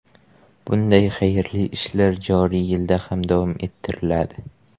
Bunday xayrli ishlar joriy yilda ham davom ettiriladi.